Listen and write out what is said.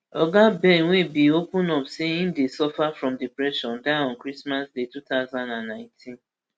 oga behn wey bin open up say im dey suffer from depression die on christmas day two thousand and nineteen